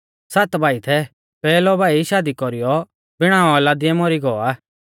सात भाई थै पैहलौ भाई शादी कौरीयौ बिणा औलादीऐ मौरी गौ आ